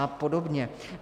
A podobně.